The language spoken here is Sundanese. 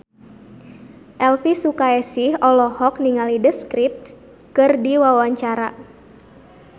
Elvi Sukaesih olohok ningali The Script keur diwawancara